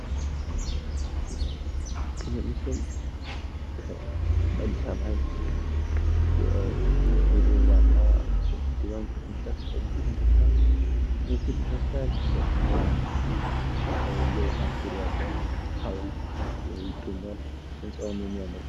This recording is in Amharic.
ይሄ ምስል በአዲስ አበባ የሚገኘው የድሮው ዋና የንግድ ባንክ ቅርጫፍ ፊት ለፊት የተነሳ ምስል ይመስላል። እንደምናዬው የውሀ ኩሬ አለ። ሀውልት ይገኛል። ህንፃውም የሚያምር ነው።